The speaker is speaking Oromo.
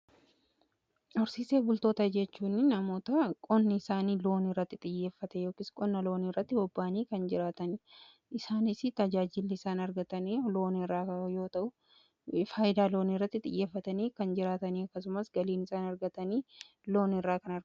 Horsiisee bultoota jechuun namoota qonni isaanii looni irratti xiyyeeffate yookis qonna looni irratti bobbaanii kan jiraatanii isaanis tajaajilli isaan argatanii looni irraa yoo ta'u faayidaa looni irratti xiyyeeffatanii kan jiraatanii akkasumas galiin isaan argatani.